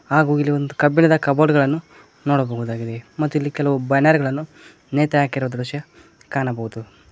ಹಾಗೂ ಇಲ್ಲಿ ಒಂದು ಕಬ್ಬಿಣದ ಕಬೋರ್ಡ್ಗಾ ಳನ್ನು ನೋಡಬಹುದಾಗಿದೆ ಹಾಗೂ ಕೆಲವು ಬ್ಯಾನರ್ ಗಳನ್ನು ನೇತು ಹಾಕಿರುವ ದೃಶ್ಯ ಕಾಣಬಹುದು.